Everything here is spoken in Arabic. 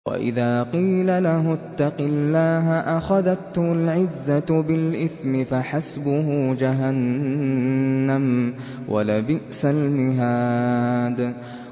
وَإِذَا قِيلَ لَهُ اتَّقِ اللَّهَ أَخَذَتْهُ الْعِزَّةُ بِالْإِثْمِ ۚ فَحَسْبُهُ جَهَنَّمُ ۚ وَلَبِئْسَ الْمِهَادُ